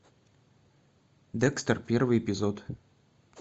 декстер первый эпизод